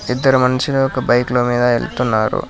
ఇద్దరు మనుషులు ఒక బైక్ మీద ఇద్దరు వెళ్తున్నారు.